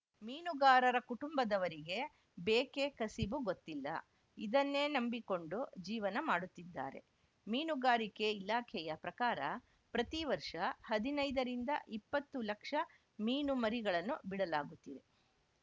ಮೀನುಗಾರರ ಕುಟುಂಬದವರಿಗೆ ಬೇಕೆ ಕಸಿಬು ಗೊತ್ತಿಲ್ಲ ಇದನ್ನೇ ನಂಬಿಕೊಂಡು ಜೀವನ ಮಾಡುತ್ತಿದ್ದಾರೆ ಮೀನುಗಾರಿಕೆ ಇಲಾಖೆಯ ಪ್ರಕಾರ ಪ್ರತಿ ವರ್ಷ ಹದಿನೈದರಿಂದ ಇಪ್ಪತ್ತು ಲಕ್ಷ ಮೀನುಮರಿಗಳನ್ನು ಬಿಡಲಾಗುತ್ತಿದೆ